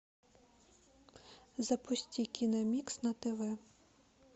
запусти киномикс на тв